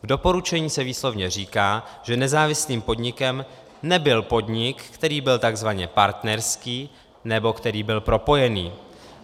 V doporučení se výslovně říká, že nezávislým podnikem nebyl podnik, který byl tzv. partnerský nebo který byl propojený.